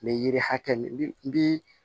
N bɛ yiri hakɛ min bi